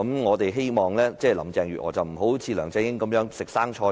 我們希望林鄭月娥不會一如梁振英當"食生菜"般。